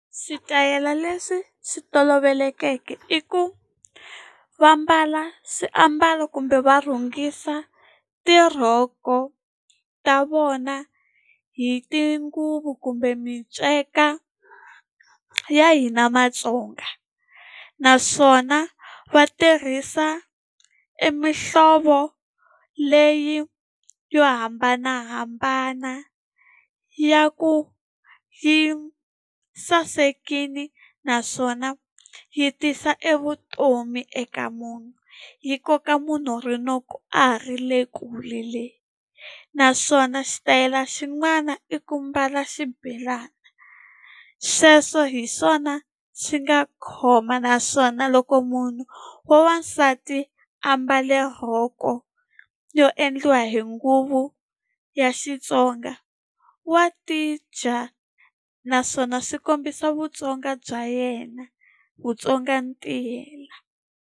Switayela leswi swi tolovelekeke i ku va ambala swiambalo kumbe va rhungisa tirhoko ta vona hi tinguvu kumbe minceka ya hina Matsonga naswona va tirhisa e mihlovo leyi yo hambanahambana ya ku yi sasekile naswona yi tisa evutomi eka munhu yi koka munhu rinoko a ha ri le kule le naswona xitayele xin'wana i ku mbala xibelani. Sweswo hi swona swi nga khoma naswona loko munhu wa wansati a ambale rhoko yo endliwa hi nguvu ya Xitsonga wa tidya naswona swi kombisa Vutsonga bya yena Vutsonga ntiyela.